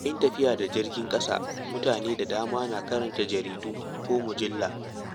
Yayin tafiya da jirgin ƙasa, mutane da dama na karanta jaridu ko mujallu.